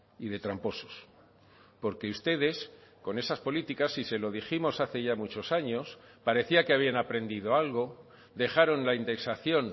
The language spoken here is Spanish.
y de tramposos porque ustedes con esas políticas y se lo dijimos hace ya muchos años parecía que habían aprendido algo dejaron la indexación